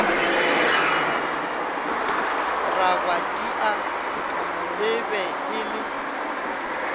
rabadia e be e le